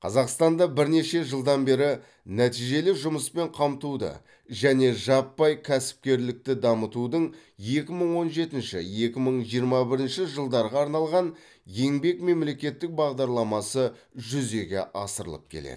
қазақстанда бірнеше жылдан бері нәтижелі жұмыспен қамтуды және жаппай кәсіпкерлікті дамытудың екі мың он жетінші екі мың жиырма бірінші жылдарға арналған еңбек мемлекеттік бағдарламасы жүзеге асырылып келеді